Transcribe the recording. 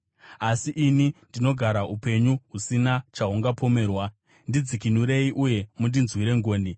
Asi ini ndinogara upenyu husina chahungapomerwa; ndidzikinurei uye mundinzwire ngoni.